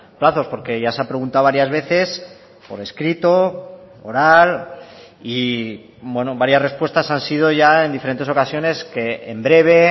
plazos porque ya se ha preguntado varias veces por escrito oral y varias respuestas han sido ya en diferentes ocasiones que en breve